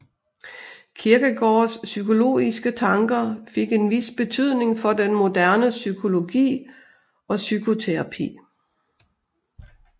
Kierkegaards psykologiske tanker fik en vis betydning for den moderne psykologi og psykoterapi